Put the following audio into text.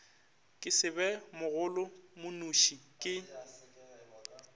ke se be mogolomonoši ke